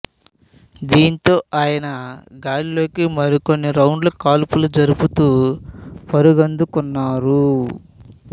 దీంతో ఆయన గాల్లోకి మరికొన్ని రౌండ్లు కాల్పులు జరుపుతూ పరుగందుకున్నారు